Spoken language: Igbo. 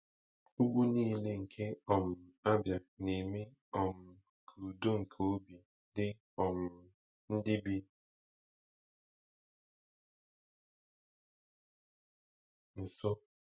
Ugwu nile nke um Abia na-eme um ka udo nke obi dị um ndị bi nso.